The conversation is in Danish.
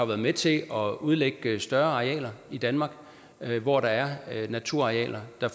været med til at udlægge større arealer i danmark hvor der er naturarealer der